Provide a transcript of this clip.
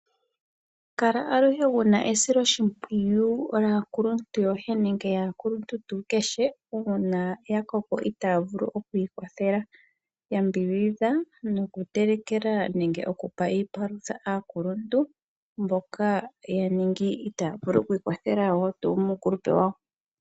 Kala aluhe wuna esoloshimpwiyu laakuluntu yoye nenge yaakuluntu tuu kehe uuna ya koko itaya vulu oku ikwathela. Yambidhidha nokutelekela nenge noku pa iipalutha aakuluntu mboka itaya vulu oku ikwathela woo tuu muukulupe wawo.